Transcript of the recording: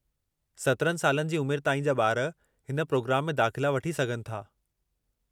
17 सालनि जी उमिरि ताईं जा ॿार हिन प्रोग्राम में दाख़िला वठी सघनि था।